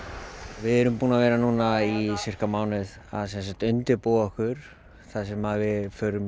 við erum búin að vera núna í sirka mánuð að undirbúa okkur þar sem við förum